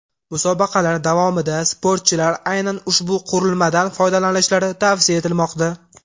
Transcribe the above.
Musobaqalar davomida sportchilar aynan ushbu qurilmadan foydalanishlari tavsiya etilmoqda.